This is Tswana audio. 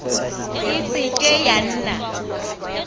e se ke ya nna